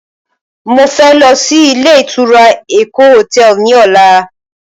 Mo fẹ́ lọ sí ilé ìtura Eko hotel ní ọ̀la